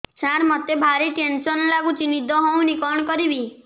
ସାର ମତେ ଭାରି ଟେନ୍ସନ୍ ଲାଗୁଚି ନିଦ ହଉନି କଣ କରିବି